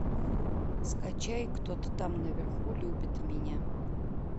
скачай кто то там наверху любит меня